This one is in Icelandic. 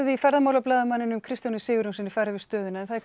við Kristján Sigurjónsson fara yfir stöðuna en það er